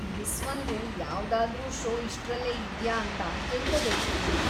ಬಿಸ್ವಂದು ಯಾವ್ದಾದ್ರೂ ಷೋ ಇಷ್ಟ್ರಲ್ಲೇ ಇದ್ಯಾ ಅಂತ ತಿಳ್ಕೋಬೇಕಿತ್ತು ನಾನು.